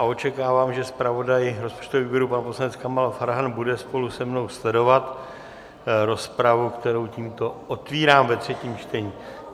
A očekávám, že zpravodaj rozpočtového výboru pan poslanec Kamal Farhan bude spolu se mnou sledovat rozpravu, kterou tímto otvírám ve třetím čtení.